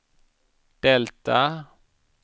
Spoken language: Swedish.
delta